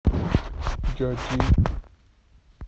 джоджи